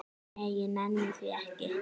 Nei, ég nenni því ekki